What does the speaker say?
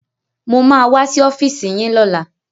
Mo ma wá sí ọ́fíìsì yín lọ́la